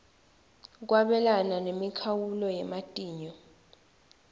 kwabelana nemikhawulo yematinyo